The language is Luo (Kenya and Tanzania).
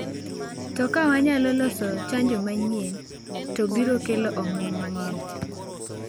To ka wanyalo loso chanjo manyien to biro kelo omuom mang’eny.